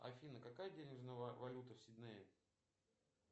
афина какая денежная валюта в сиднее